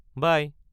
বাই!